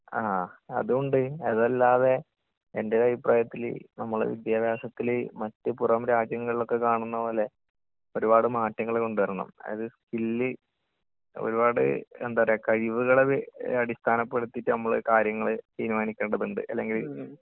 ങാ..അതുംണ്ട്, അതല്ലാതെ എന്റെ ഒരഭിപ്രായത്തില് നമ്മള് വിദ്യാഭ്യാസത്തില് മറ്റ് പുറം രാജ്യങ്ങളിൽ ഒക്കെ കാണുന്നപോലെ ഒരുപാട് മാറ്റങ്ങള് കൊണ്ടുവരണം. അതായത് സ്കില്ല്..ഒരുപാട്..എന്താപറയുക...കഴിവുകളെ ബെയ്...അടിസ്ഥാനപ്പെടുത്തിയിട്ട് നമ്മള് കാര്യങ്ങള് തീരുമാനിക്കേണ്ടതുണ്ട്.അല്ലെങ്കില്...